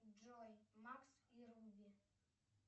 джой макс и руби